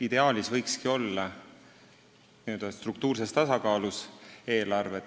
Ideaalis võiksidki eelarved olla struktuurses tasakaalus.